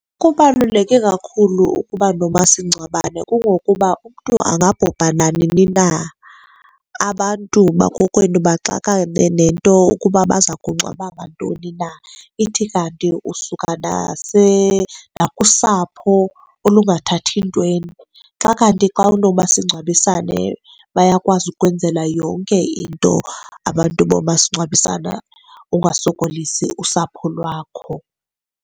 Kubaluleke kakhulu ukuba nomasingcwabane kungokuba umntu angabhubha nanini na, abantu bakokwenu baxakane nento ukuba baza kungcwaba ngantoni na. Ithi kanti usuka nakusapho olungathathi ntweni. Xa kanti xa unomasingcwabisane bayakwazi ukukwenzela yonke into abantu bomasingcwabisana ungasokolisi usapho lwakho.